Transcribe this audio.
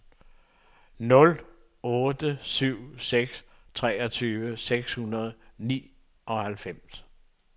nul otte syv seks treogtyve seks hundrede og nioghalvfems